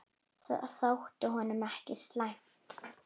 Það þótti honum ekki slæmt.